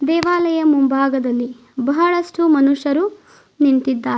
ದೇವಾಲಯ ಮುಂಭಾಗದಲ್ಲಿ ಬಹಳಷ್ಟು ಮನುಷ್ಯರು ನಿಂತಿದ್ದಾರೆ.